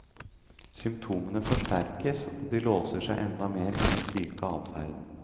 Symptomene forsterkes og de låser seg enda mer i den syke adferden.